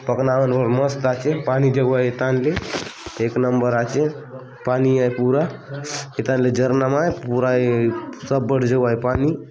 पखना मन बले मस्त आचेपानी जाऊआय ए थान ले एक नंबर आचेपानी आय पूरा ए थान ले झरना मा आय पूरा ये सब बाटे जाऊआय पानी।